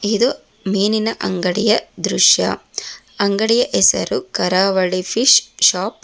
ಇದು ಮೀನಿನ ಅಂಗಡಿಯ ದೃಶ್ಯ ಅಂಗಡಿಯ ಹೆಸರು ಕರಾವಳಿ ಫಿಶ್ ಶಾಪ್ .